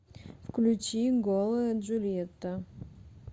включи голая джульетта